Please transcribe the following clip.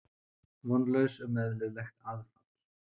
Vonlaus um eðlilegt aðfall.